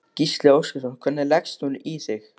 Gísli Óskarsson: Hvernig leggst hún í þig?